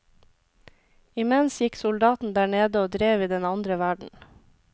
Imens gikk soldaten der nede og drev i den andre verden.